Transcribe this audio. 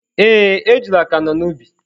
Ee, ejula ka nọ n’ubi.